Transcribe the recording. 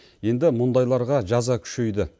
енді мұндайларға жаза күшейді